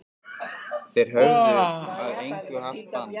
Þeir höfðu að engu haft bann